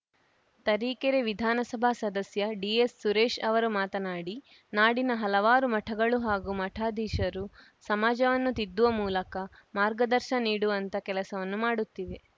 ತರಿಕೇರೆ ವಿಧಾನಸಭಾ ಸದಸ್ಯ ಡಿಎಸ್‌ಸುರೇಶ್‌ ಅವರು ಮಾತನಾಡಿ ನಾಡಿನ ಹಲವಾರು ಮಠಗಳು ಹಾಗೂ ಮಠಾಧೀಶರು ಸಮಾಜವನ್ನು ತಿದ್ದುವ ಮೂಲಕ ಮಾರ್ಗದರ್ಶ ನೀಡುವಂತ ಕೆಲಸವನ್ನು ಮಾಡುತ್ತಿವೆ